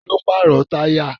Ta ló pàrọ̀ táyà?